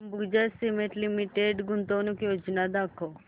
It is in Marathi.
अंबुजा सीमेंट लिमिटेड गुंतवणूक योजना दाखव